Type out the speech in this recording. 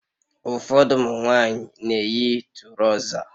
Ụfọdụ ụmụ nwanyị na-eyi turoza